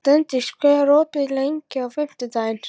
Steindís, hvað er opið lengi á fimmtudaginn?